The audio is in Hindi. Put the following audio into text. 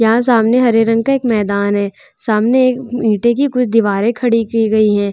यहाँ सामने हरे रंग का एक मैदान है सामने ईटे की कुछ दीवारे खड़ी की गई है ।